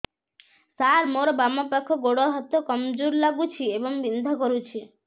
ସାର ମୋର ବାମ ପାଖ ଗୋଡ ହାତ କମଜୁର ଲାଗୁଛି ଏବଂ ବିନ୍ଧା କରୁଛି